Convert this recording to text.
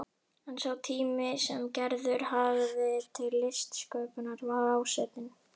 En sá tími sem Gerður hafði til listsköpunar var ásetinn.